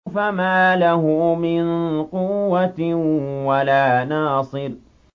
فَمَا لَهُ مِن قُوَّةٍ وَلَا نَاصِرٍ